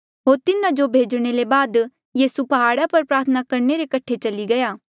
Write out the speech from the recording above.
होर तिन्हा जो भेजणे ले बाद यीसू प्हाड़ा पर प्रार्थना करणे रे कठे चली गया